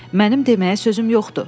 Mənim deməyə sözüm yoxdur.